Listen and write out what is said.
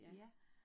Ja